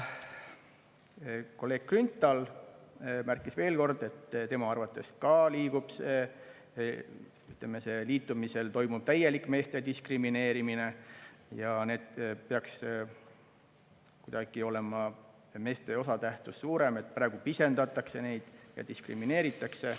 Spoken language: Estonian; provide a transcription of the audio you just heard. Kolleeg Grünthal märkis, et tema arvates hallab pärast liitumist toimuma täielik meeste diskrimineerimine ja peaks kuidagi olema meeste osatähtsus suurem, praegu pisendatakse neid ja diskrimineeritakse.